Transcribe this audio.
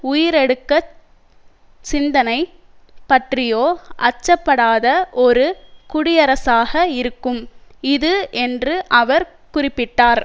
உயிரெடுக்கச் சிந்தனை பற்றியோ அச்சப்படாத ஒரு குடியரசாக இருக்கும் இது என்று அவர் குறிப்பிட்டார்